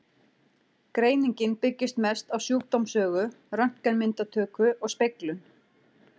Greiningin byggist mest á sjúkdómssögu, röntgenmyndatöku og speglun.